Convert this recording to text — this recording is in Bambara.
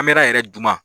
An bɛra yɛrɛ duman